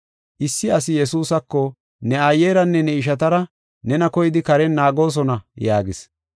Issi asi Yesuusako, “Ne aayeranne ne ishatara nena koyidi karen naagoosona” yaagis.